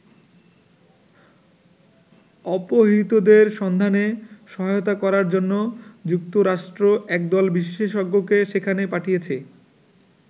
অপহৃতদের সন্ধানে সহায়তা করার জন্য যুক্তরাষ্ট্র একদল বিশেষজ্ঞকে সেখানে পাঠিয়েছে।